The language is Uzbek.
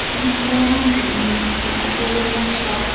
Umid qilamanki, uning uchun o‘sha yer yaxshiroq.